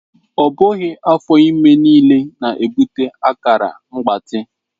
Ọ bụghị afọ ime niile na-ebute akara mgbatị.